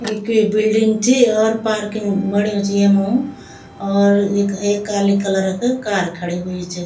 ये कुई बिल्डिंग चि और पार्किंग बन्युं च येमा और यख एक काली कलर क कार खड़ीं हुईं च।